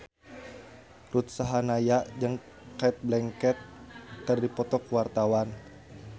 Ruth Sahanaya jeung Cate Blanchett keur dipoto ku wartawan